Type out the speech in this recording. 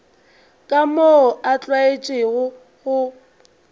ka moo a tlwaetšego go